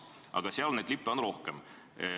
Aga seal on neid lippe rohkem.